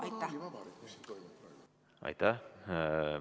Aitäh!